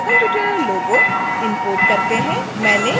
फिर आइए spoken tutorial logo logo import करते हैं